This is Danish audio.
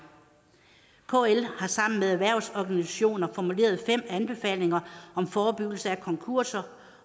kl har sammen med erhvervsorganisationer formuleret fem anbefalinger om forebyggelse af konkurser